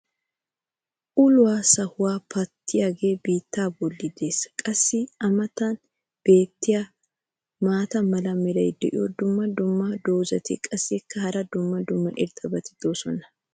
uluwa sahuwa pattiyagee biittaa boli des. qassi a matan beetiya maata mala meray diyo dumma dumma qommo dozzati qassikka hara dumma dumma irxxabati doosona.